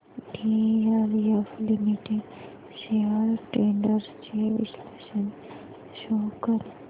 DLF limited shares trends चे विश्लेषण show कर